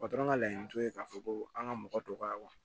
ka laɲini t'o ye k'a fɔ ko an ka mɔgɔ dɔgɔya